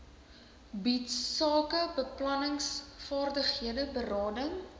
bied sakebeplanningsvaardighede berading